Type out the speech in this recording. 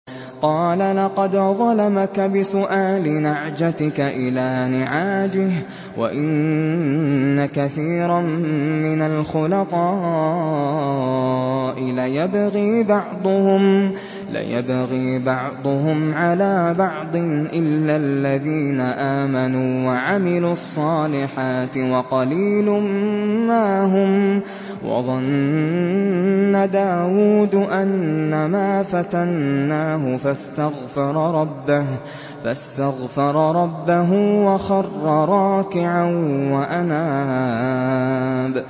قَالَ لَقَدْ ظَلَمَكَ بِسُؤَالِ نَعْجَتِكَ إِلَىٰ نِعَاجِهِ ۖ وَإِنَّ كَثِيرًا مِّنَ الْخُلَطَاءِ لَيَبْغِي بَعْضُهُمْ عَلَىٰ بَعْضٍ إِلَّا الَّذِينَ آمَنُوا وَعَمِلُوا الصَّالِحَاتِ وَقَلِيلٌ مَّا هُمْ ۗ وَظَنَّ دَاوُودُ أَنَّمَا فَتَنَّاهُ فَاسْتَغْفَرَ رَبَّهُ وَخَرَّ رَاكِعًا وَأَنَابَ ۩